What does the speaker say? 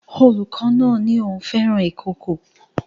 Olùkọ́ náà ní òun fẹ́ràn ikòkò